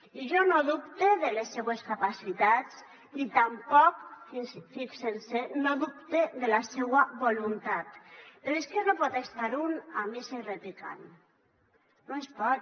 i jo no dubte de les seues capacitats i tampoc fixen se no dubte de la seua voluntat però és que no pot estar un a missa i repicant no es pot